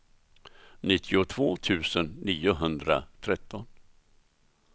nittiotvå tusen niohundratretton